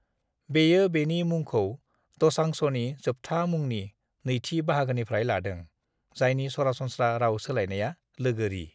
"बेयो बेनि मुंखौ दोसांझनि जोबथा मुंनि नैथि बाहागोनिफ्राय लादों, जायनि सरासनस्रा राव सोलायनाया "लोगोरि"।